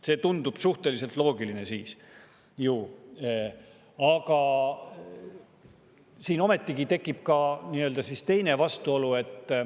See tundub suhteliselt loogiline, aga siin ometigi tekib teine vastuolu.